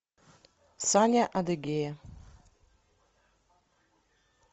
саня адыгея